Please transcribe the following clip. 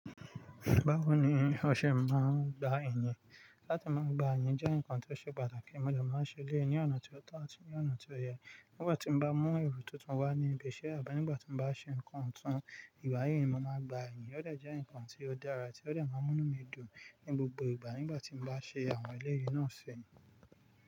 Báwo ni o ṣe máa ń gba ìyìn? Láti máa gba ìyìn jẹ́ ǹkan tó ṣe pàtàkì, mo jẹ́ má ṣe eléyii ní ọ̀nà tí ó tọ́ àti ní ọ̀nà tí ó yẹ. Nígbà tí mo bá mú èrò tuntun wá ní ibi iṣẹ́ àbí nígbà tí mo bá ṣe ǹkan otun, ìgbá yìn ni mo máa gba ìyìn. Ó dè jẹ́ ǹkan tí ó dára tí ó dè máa n múnu mi dùn ní gbogbo ìgbà nígbà tí n bá ṣe àwọn eléyìí náà ṣe.